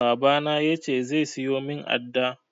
Baba na ya ce zai siyo min adda